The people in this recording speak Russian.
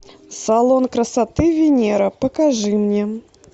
салон красоты венера покажи мне